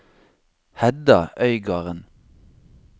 Hedda Øygarden